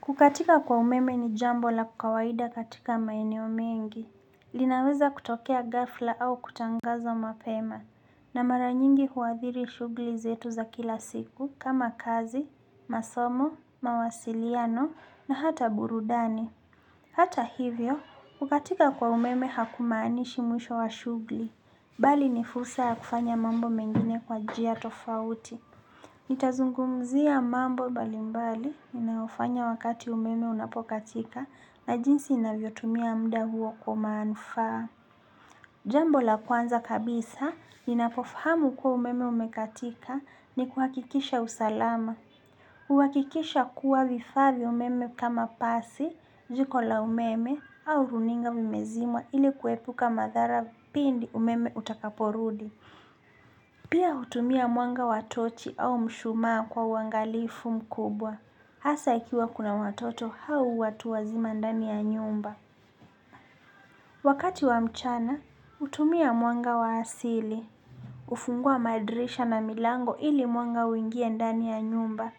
Kukatika kwa umeme ni jambo la kawaida katika maeneo mengi. Linaweza kutokea ghafla au kutangazwa mapema. Na mara nyingi huadhiri shugli zetu za kila siku kama kazi, masomo, mawasiliano na hata burudani. Hata hivyo, kukatika kwa umeme hakumaanishi mwisho wa shughli. Bali ni fursa ya kufanya mambo mengine kwa njia tofauti. Nitazungumzia mambo mbalimbali ninayofanya wakati umeme unapokatika na jinsi ninavyotumia muda huo kwa manufaa. Jambo la kwanza kabisa ninapofahamu kuwa umeme umekatika ni kuhakikisha usalama. Kuhakikisha kuwa vifa vya umeme kama pasi, jiko la umeme au runinga vimezimwa ili kuepuka madhara pindi umeme utakaporudi. Pia utumia mwanga wa tochi au mshumaa kwa uangalifu mkubwa. Hasa ikiwa kuna watoto hau watu wazima ndani ya nyumba. Wakati wa mchana, hutumia mwanga wa asili. Ufungua madrisha na milango ili mwanga uingie ndani ya nyumba.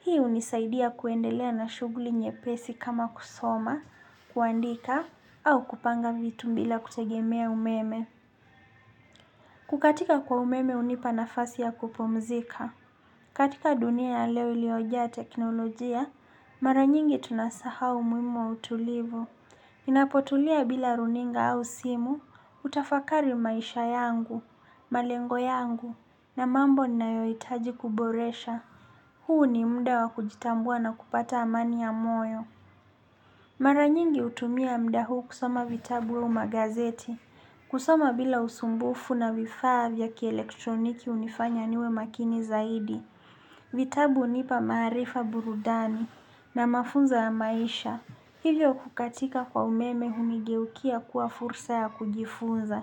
Hii unisaidia kuendelea na shuguli nyepesi kama kusoma, kuandika, au kupanga vitu bila kutegemea umeme. Kukatika kwa umeme hunipa nafasi ya kupumzika. Katika dunia ya leo iliojaa teknolojia, mara nyingi tunasahau umuhimu wa utulivu. Inapotulia bila runinga au simu, hutafakari maisha yangu, malengo yangu, na mambo ninayoitaji kuboresha. Huu ni mmda wa kujitambua na kupata amani ya moyo. Mara nyingi hutumia muda huu kusoma vitabu au magazeti, kusoma bila usumbufu na vifaa vya kielektroniki unifanya niwe makini zaidi. Vitabu hunipa maarifa burudani na mafunzo ya maisha. Hivyo kukatika kwa umeme hunigeukia kuwa fursa ya kujifunza.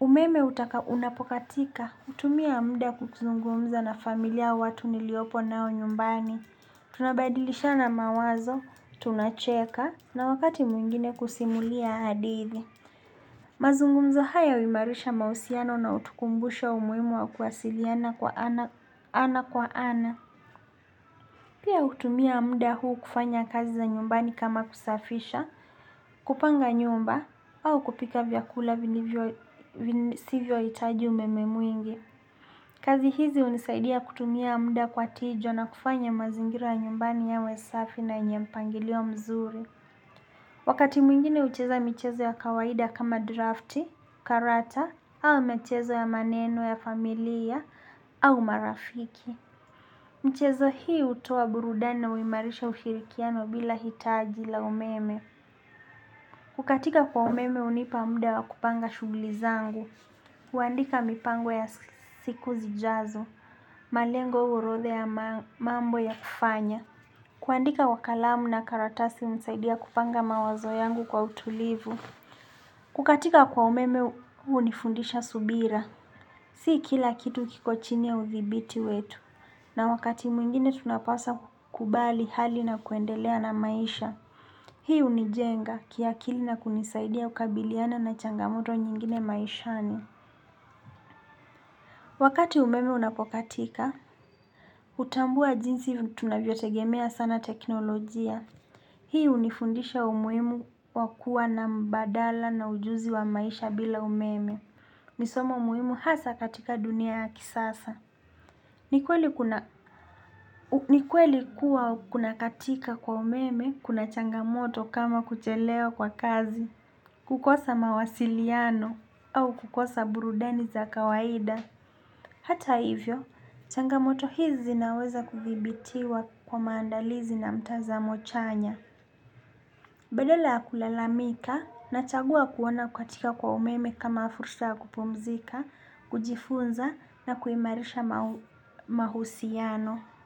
Umeme utaka unapokatika utumia mda kukuzungumza na familia au watu niliopo nao nyumbani. Tunabadilishana mawazo, tunacheka na wakati mwingine kusimulia hadithi. Mazungumzo haya huimarisha mausiano na utukumbusha umuimu wa kuwasiliana kwa ana kwa ana. Pia hutumia muda huu kufanya kazi za nyumbani kama kusafisha, kupanga nyumba au kupika vyakula vini sivyo itaji umemenmwingi. Kazi hizi unisaidia kutumia muda kwa tija na kufanya mazingira nyumbani yawe safi na yenye mpangilio mzuri. Wakati mwingine ucheza mchezo ya kawaida kama drafti, karata, au mchezo ya maneno ya familia, au marafiki. Mchezo hii hutoa burudani na huimarisha ushirikiano bila hitaji la umeme. Kukatika kwa umeme hunipa muda wa kupanga shuguli zangu. Kuandika mipango ya siku zijazo, malengo orodha ya mambo ya kufanya. Kuandika kwa kalamu na karatasi unisaidia kupanga mawazo yangu kwa utulivu. Kukatika kwa umeme unifundisha subira. Si kila kitu kiko chini ya uthibiti wetu. Na wakati mwingine tunapasa kubali hali na kuendelea na maisha. Hii unijenga kiakili na kunisaidia kukabiliana na changamoto nyingine maishani. Wakati umeme unapokatika, hutambua jinsi tunavyotegemea sana teknolojia. Hii unifundisha umuimu wa kuwa na mbadala na ujuzi wa maisha bila umeme. Misomo umuimu hasa katika dunia ya kisasa. Ni kweli kuwa kuna katika kwa umeme kuna changamoto kama kuchelewa kwa kazi. Kukosa mawasiliano au kukosa burudani za kawaida. Hata hivyo, changamoto hizi zinaweza kuthibitiwa kwa maandalizi na mtazamo chanya. Bedala ya kulalamika nachagua kuona kukatika kwa umeme kama fursa ya kupumzika, kujifunza na kuimarisha mahusiano.